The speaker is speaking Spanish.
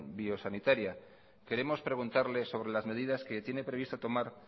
biosanitaria queremos preguntarle sobre las medidas que tiene previsto tomar